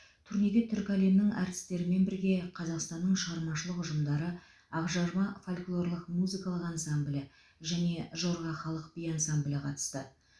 турнеге түркі әлемінің әртістерімен бірге қазақстанның шығармашылық ұжымдары ақжарма фольклорлық музыкалық ансамблі және жорға халық би ансамблі қатысты